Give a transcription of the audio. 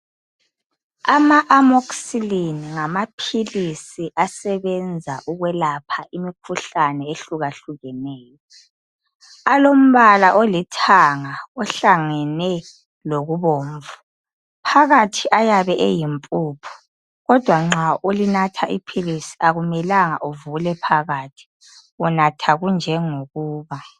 Ama-amoxicilline ngamaphilisi asebenza ukwelapha imikhuhlane ehlukahlukeneyo. Alombala olithanga ohlangene lokubomvu. Phakathi ayabe eyimpuphu kodwa nxa ulinatha iphilisi akumelanga uvule phakathi unatha kunjengokuba.